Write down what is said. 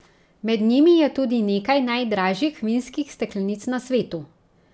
Med njimi je tudi nekaj najdražjih vinskih steklenic na svetu.